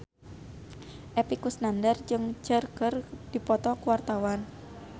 Epy Kusnandar jeung Cher keur dipoto ku wartawan